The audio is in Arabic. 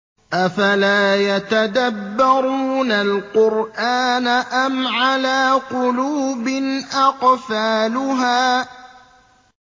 أَفَلَا يَتَدَبَّرُونَ الْقُرْآنَ أَمْ عَلَىٰ قُلُوبٍ أَقْفَالُهَا